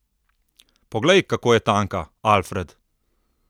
Poglej, kako je tanka, Alfred!